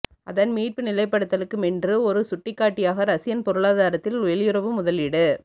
அதன் மீட்பு நிலைப்படுத்தலுக்குமென்று ஒரு சுட்டிக்காட்டியாக ரஷியன் பொருளாதாரத்தில் வெளியுறவு முதலீடு